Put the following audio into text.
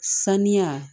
Saniya